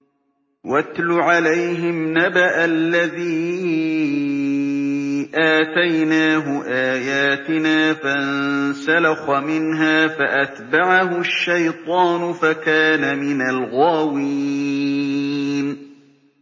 وَاتْلُ عَلَيْهِمْ نَبَأَ الَّذِي آتَيْنَاهُ آيَاتِنَا فَانسَلَخَ مِنْهَا فَأَتْبَعَهُ الشَّيْطَانُ فَكَانَ مِنَ الْغَاوِينَ